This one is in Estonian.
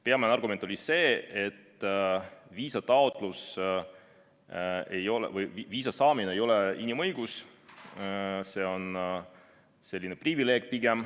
Peamine argument oli see, et viisa saamine ei ole inimõigus, see on pigem selline privileeg.